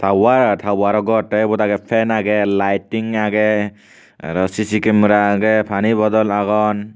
tawar tawaro gor te ebot aagey fan aagey liting aagey aro CC camera aagey pani bodol agon.